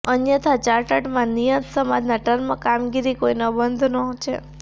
અન્યથા ચાર્ટરમાં નિયત સમાજના ટર્મ કામગીરી કોઈ બંધનો છે